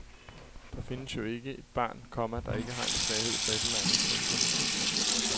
Der findes jo ikke et barn, komma der ikke har en svaghed for et eller andet. punktum